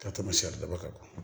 Ka tɛmɛ siridaba kan